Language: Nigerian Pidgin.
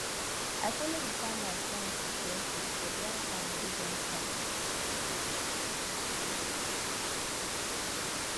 i follow the farmers dance with bare foot for dry ground wey don crack